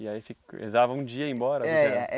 E aí fica rezava um dia e ia embora? É